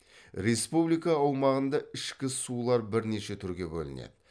республика аумағында ішкі сулар бірнеше түрге бөлінеді